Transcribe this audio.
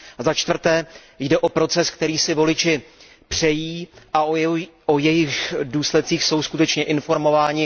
Za čtvrté, jde o proces, který si voliči přejí a o jehož důsledcích jsou skutečně informováni?